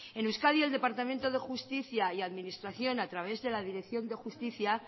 en euskadi el departamento de justicia y administración a través de la dirección de justicia